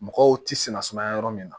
Mɔgɔw tɛ sinna sumaya yɔrɔ min na